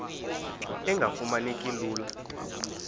engafuma neki lula